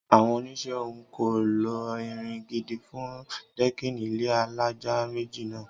Àwọn onisẹ́ ọ̀hún kò lo irin gidi fún dẹ́kìnì ilé alájà méjì náà